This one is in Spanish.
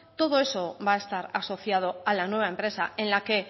todo eso va a estar asociado a la nueva empresa en la que